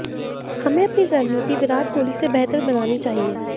हमें अपनी रणनीति विराट कोहली से बेहतर बनानी चाहिए